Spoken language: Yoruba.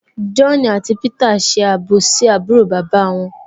John àti Peter n ṣe àbòsí àbúrò bàbá wọn